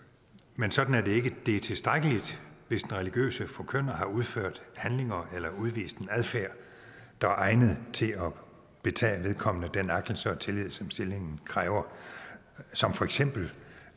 men sådan er det ikke det er tilstrækkeligt hvis den religiøse forkynder har udført handlinger eller udvist en adfærd der er egnet til at betage vedkommende den agtelse og tillid som stillingen kræver som for eksempel